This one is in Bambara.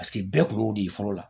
Paseke bɛɛ kun y'o de ye fɔlɔ la